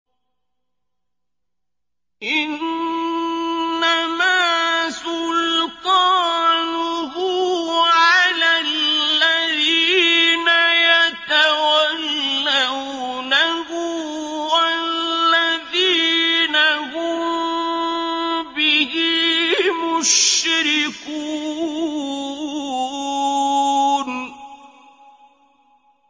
إِنَّمَا سُلْطَانُهُ عَلَى الَّذِينَ يَتَوَلَّوْنَهُ وَالَّذِينَ هُم بِهِ مُشْرِكُونَ